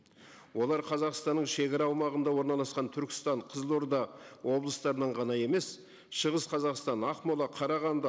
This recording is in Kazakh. олар қазақстанның шегара аумағында орналасқан түркістан қызылорда облыстарынан ғана емес шығыс қазақстан ақмола қарағанды